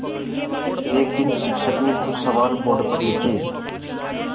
एक दिन शिक्षक ने कुछ सवाल बोर्ड पर लिखे